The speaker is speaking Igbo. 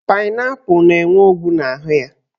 Painaipu na-enwe ọgwụ n'ahụ ya.